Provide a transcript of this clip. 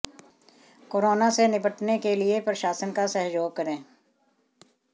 corona से निपटने के लिए प्रशासन का सहयोग करें